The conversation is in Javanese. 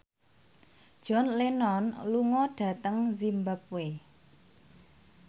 John Lennon lunga dhateng zimbabwe